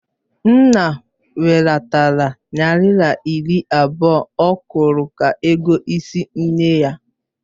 Nna welatara naira iri abụọ ọ kwuru ka ego ịsị nne ya.